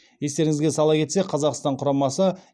естеріңізге сала кетсе қазақстан құрамасы